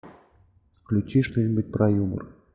включи что нибудь про юмор